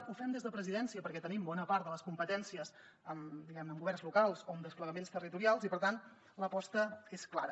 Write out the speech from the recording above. ho fem des de presidència perquè tenim bona part de les competències diguem ne en governs locals o en desplegaments territorials i per tant l’aposta és clara